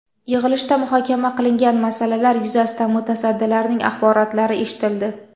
Yig‘ilishda muhokama qilingan masalalar yuzasidan mutasaddilarning axborotlari eshitildi.